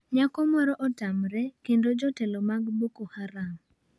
Nyako moro otamre kendo jotelo mag Boko Haram